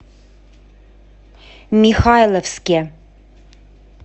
михайловске